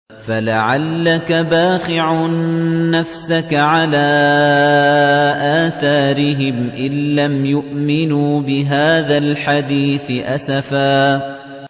فَلَعَلَّكَ بَاخِعٌ نَّفْسَكَ عَلَىٰ آثَارِهِمْ إِن لَّمْ يُؤْمِنُوا بِهَٰذَا الْحَدِيثِ أَسَفًا